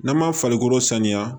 N'an ma farikolo saniya